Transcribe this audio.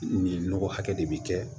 Nin nɔgɔ hakɛ de bɛ kɛ